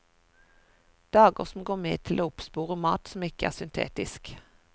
Dager som går med til å oppspore mat som ikke er syntetisk.